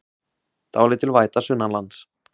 Dálítil væta sunnanlands